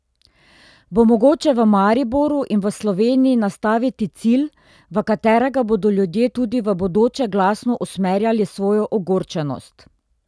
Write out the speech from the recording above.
Bo mogoče v Mariboru in v Sloveniji nastaviti cilj, v katerega bodo ljudje tudi v bodoče glasno usmerjali svojo ogorčenost?